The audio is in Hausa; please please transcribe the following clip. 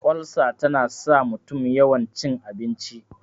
ulsa tana sa mutum yawan cin abinci